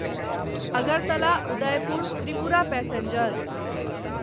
Agartala Udaipur Tripura passenger